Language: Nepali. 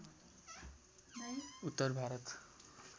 उत्तर भारत